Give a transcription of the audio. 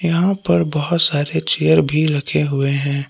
यहां पर बहुत सारे चेयर भी रखे हुए हैं।